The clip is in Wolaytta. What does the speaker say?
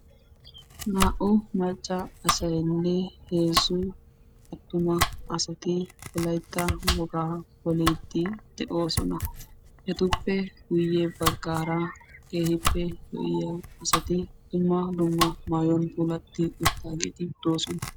Naa"u macca asaynne heezzu attuma asay wolaytta wogaa poliidi de'oosona. ETuppe guyya baggaara keehippe lo"iyaa asati dumma dumma maayuwan puulatti uttaageeti doosona.